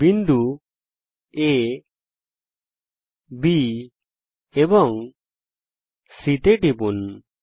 বিন্দু আ B C তে টিপুন